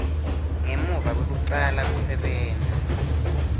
ngemuva kwekucala kusebenta